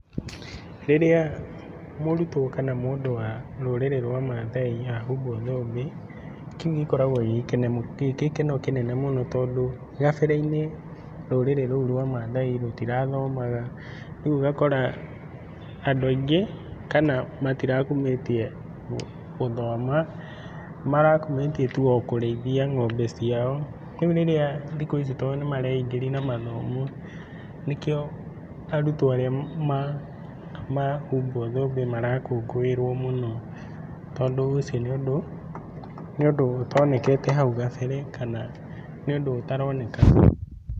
Rĩrĩa mũrutwo kana mũndũ wa rũrĩrĩ rwa mathai ahumbwo thũmbĩ, kĩu gĩkoragwo gĩgĩkeno kĩnene mũno tondũ hau gabereinĩ rũrĩrĩ rũu rwa mathai tũtirathomaga rĩu ũgakora andũ aingĩ kana matirakumĩtie gũthoma, marakumĩtie o kũrĩithia ng'ombe ciao rĩu rĩrĩa thikũ ici tondũ nĩ mareingĩria na mathomo nĩkĩo arutwo arĩa mahumbwo thũmbĩ marakũngũĩrwo mũno tondũ ũcio nĩ ũndũ ũtonekete hau kabere kana nĩ ũndũ ũtaronekaga.